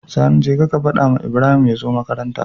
Sani jeka ka fadawa Ibrahim yazo makaranta